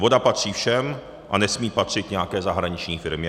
Voda patří všem a nesmí patřit nějaké zahraniční firmě.